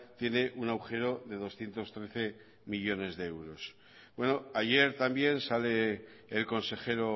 tiene un agujero de doscientos trece millónes de euros bueno ayer también sale el consejero